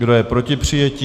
Kdo je proti přijetí?